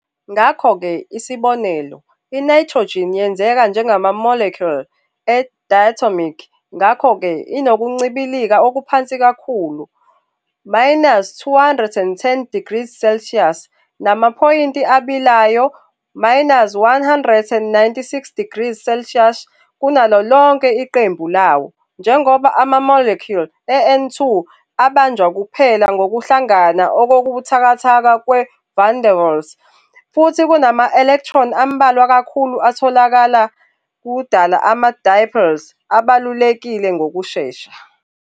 Ngakho-ke, isibonelo, i-nitrogen yenzeka njengama-molecule e-diatomic ngakho-ke inokuncibilika okuphansi kakhulu, - 210 degrees Celsius, namaphoyinti abilayo, -196 degrees Celsius, kunalo lonke iqembu lawo, njengoba ama-molecule e-N2 abanjwa kuphela ngokuhlangana okubuthakathaka kwe-van der Waals futhi kunama-electron ambalwa kakhulu atholakalayo ukudala ama-dipoles abalulekile ngokushesha.